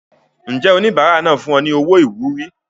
Ǹjẹ́ oníbàárà náà fún ọ ní owó ìwúrí?